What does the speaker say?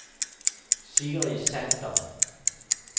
Sigrid Sander